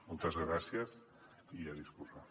moltes gràcies i a disposar